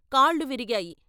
కాళ్ళు విరిగాయి.